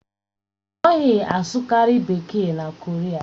A naghị asụkarị Bekee na Koria